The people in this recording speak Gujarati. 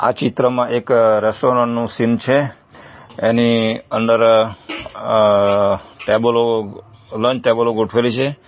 ચિત્રમાં એક રેસ્ટોરન્ટ નો સીન છે એની અંદર અહ ટેબલો લંચ ટેબલો ગોઠવેલી છે.